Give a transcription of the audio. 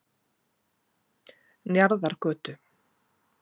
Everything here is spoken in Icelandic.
Njarðargötu